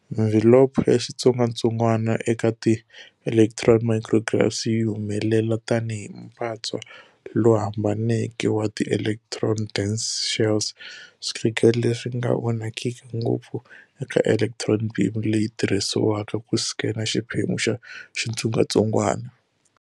Mvhilopho ya xitsongwatsongwana eka ti electron micrographs yi humelela tani hi mpatswa lowu hambaneke wa ti electron-dense shells, swikhegelo leswinga vonakiki ngopfu eka electron beam leyi tirhisiwaka ku scan xiphemu xa xitsongwatsongwana